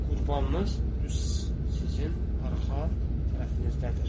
Qurbanınız düz sizin arxa tərəfinizdədir.